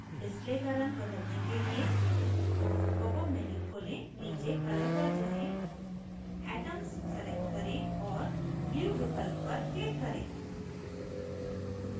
display का रंग बदलने के लिए popअप menu खोलें नीचे color पर जाएँ atoms select करें और blue विकल्प पर click करें